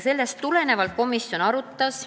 Sellest tulenevalt komisjon seda arutas.